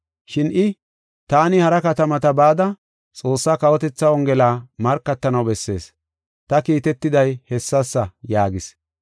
Shin I, “Taani hara katamata bada Xoossaa kawotethaa Wongela markatanaw bessees. Ta kiitetiday hessasa” yaagis.